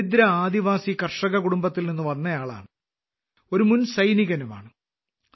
ഒരു ദരിദ്ര ആദിവാസി കർഷകകുടുംബത്തിൽ നിന്ന് വരുന്ന ആളാണ് ഒരു മുൻ സൈനികനുമാണ്